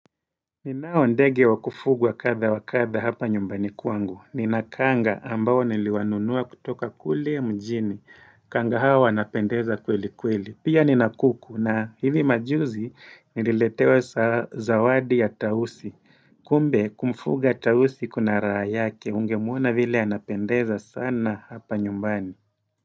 Ninao ndege wa kufugwa kadha wa kadha hapa nyumbani kwangu. Nina kanga ambao niliwanunuwa kutoka kule mjini. Kanga hawa wanapendeza kweli kweli. Pia nina kuku, na hivi majuzi nililetewa zawadi ya tausi. Kumbe kumfuga tausi kuna raha yake ungemwona vile anapendeza sana hapa nyumbani.